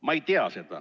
Ma ei tea seda.